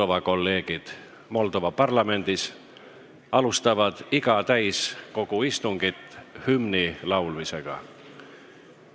Meie kolleegid Moldova parlamendis alustavad iga täiskogu istungit hümni laulmisega.